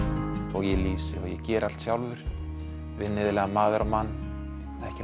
og ég lýsi og ég geri allt sjálfur vinn iðulega maður á mann ekki